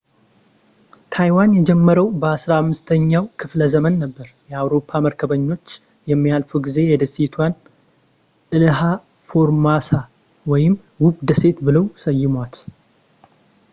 ታይዋን የጀመረው በ 15 ኛው ክፍለ ዘመን ነበር የአውሮፓ መርከበኞች የሚያልፉ ጊዜ የደሴቷን ኢልሃ ፎርሞሳ ወይም ውብ ደሴት ብለው ሰየሟት